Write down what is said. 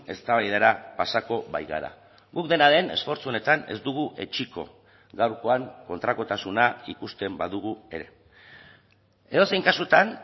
eztabaidara pasako baikara guk dena den esfortzu honetan ez dugu etsiko gaurkoan kontrakotasuna ikusten badugu ere edozein kasutan